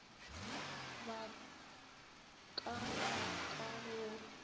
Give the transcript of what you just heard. ba ka ba ka go